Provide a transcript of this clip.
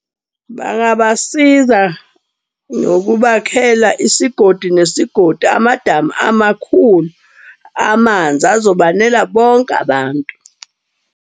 Bangabasiza ngokubakhela isigodi nesigodi amadamu amakhulu amanzi azobanela bonke abantu.